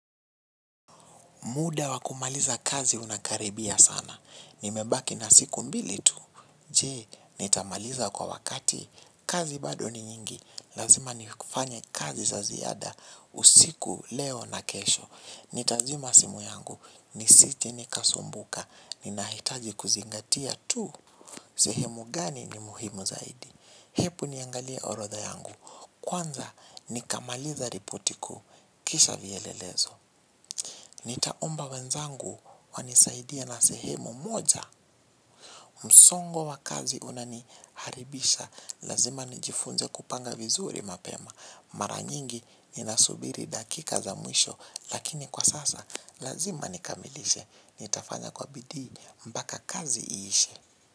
Muda wa kumaliza kazi unakaribia sana. Nimebaki na siku mbili tu. Je, nitamaliza kwa wakati. Kazi bado ni nyingi. Lazima nifanye kazi za ziada. Usiku leo na kesho. Nitazima simu yangu. Nisiti nikasumbuka. Ninahitaji kuzingatia tu. Sehemu gani ni muhimu zaidi. Hepu niangalie orodha yangu. Kwanza, nikamaliza ripoti kuu. Kisha vielelezo. Nitaomba wenzangu wanisaidie na sehemu moja. Msongo wa kazi unaniharibisha. Lazima nijifunze kupanga vizuri mapema. Maranyingi ninasubiri dakika za mwisho. Lakini kwa sasa lazima nikamilishe. Nitafanya kwa bidhi mpaka kazi iishe.